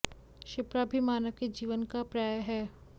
शिप्रा भी मानव के जीवन का पर्याय है